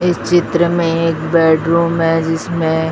इस चित्र में एक बेडरूम है जिसमें--